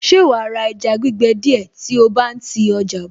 Ṣe wàá ra ẹja gbígbẹ díẹ̀ tí o bá ń ti ọjà bọ̀?